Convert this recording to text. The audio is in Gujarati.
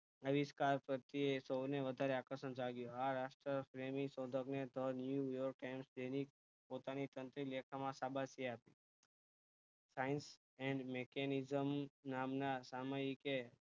આવિષ્કાર પર થી સૌને વધારે આકર્ષણ જાગ્યું આ રાષ્ટ્ર પ્રેમી શોધક ને તો new york and તેની પોતાની તંત્રી લેખાં માં શાબાશી આપી science and mechanism નામ ના સામાયિક એ